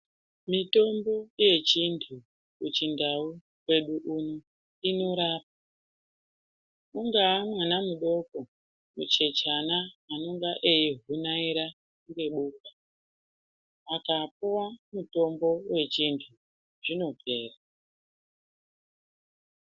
Mitombo yechindau kwedu uno inorapa ungaa mwana mudoko zvichechana anenga eigunaira ngebuti akapuwa mutombo wechintu zvinopera